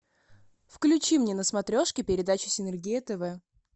включи мне на смотрешке передачу синергия тв